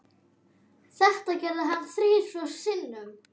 Þetta gerði hann þrisvar sinnum.